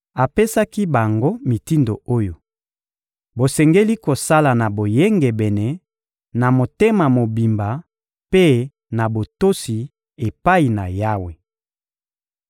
Apesaki bango mitindo oyo: «Bosengeli kosala na boyengebene, na motema mobimba mpe na botosi epai na Yawe.